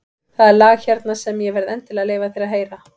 Það er lag hérna sem ég verð endilega að leyfa þér að heyra.